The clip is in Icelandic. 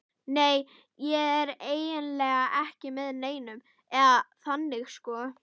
Nei, ég er eiginlega ekki með neinum, eða þannig sko.